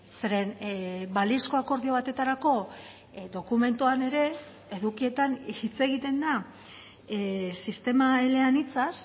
zeren balizko akordio batetarako dokumentuan ere edukietan hitz egiten da sistema eleanitzaz